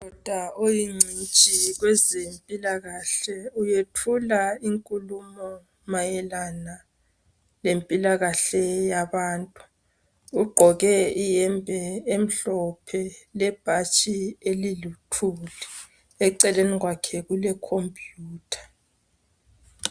Udokotela oyingcitshi kwezempilakahle uyethula inkulumo mayelana lezempilakahle ugqoke iyembe emhlophe lebhatshi eliluthuli eceleni kwakhe kulecomputer